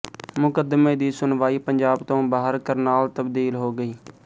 ਮੁਕੱਦਮੇ ਦੀ ਸੁਣਵਾਈ ਪੰਜਾਬ ਤੋਂ ਬਾਹਰ ਕਰਨਾਲ ਤਬਦੀਲ ਹੋ ਗਈ